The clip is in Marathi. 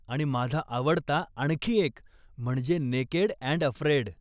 आणि माझा आवडता आणखी एक म्हणजे नेकेड अँड अफ्रेड.